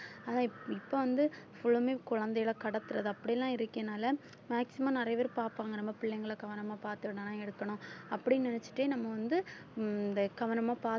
ஆனா இப்ப வந்து full உமே குழந்தைகளை கடத்துறது அப்படிலாம் இருக்கனால maximum நிறைய பேர் பார்ப்பாங்க நம்ம பிள்ளைங்களை கவனமா பார்த்துகணும் அப்படின்னு நினைச்சுட்டே நம்ம வந்து உம் இந்த கவனமா